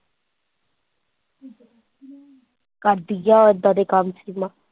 ਕਰਦੀ ਜਾ ਐਦਾਂ ਦੇ ਕੰਮ ਸੀਮਾ।